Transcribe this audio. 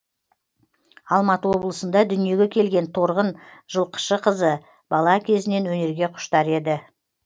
алматы облысында дүниеге келген торғын жылқышықызы бала кезінен өнерге құштар еді